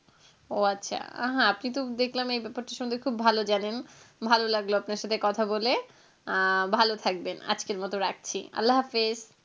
ও আচ্ছা হা আপনি তো দেখলাম এই ব্যাপারটার সঙ্গে খুব ভালো জানেন, ভালো লাগলো আপনার সঙ্গে কথা বলে আহ ভালো থাকবেন আজকের মত রাখছি, আল্লাহ হাফিস.